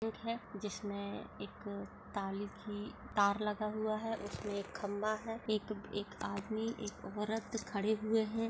Gate है जिसमे ताले की तार लगा हुआ है उसमे एक खम्बा है और एक आदमी एक औरत खड़े हुए है।